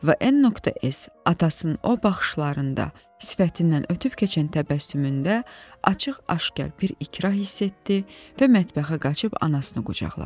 Və N.S. atasının o baxışlarında, sifətindən ötüb keçən təbəssümündə açıq-aşkar bir ikrah hiss etdi və mətbəxə qaçıb anasını qucaqladı.